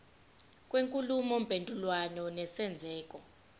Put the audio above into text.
kwenkulumo mpendulwano nesenzeko